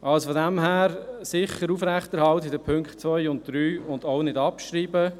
Daher soll man die Punkte 2 und 3 sicher aufrechterhalten und diese auch nicht abschreiben.